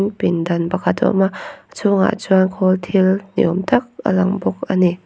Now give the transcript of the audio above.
pindan pakhat a awm a a chhungah chuan khawl thil niawm tak a lang bawk a ni.